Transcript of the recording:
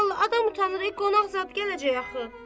Vallahi adam utanır, qonaq zad gələcək axı.